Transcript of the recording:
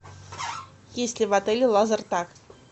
есть ли в отеле лазертаг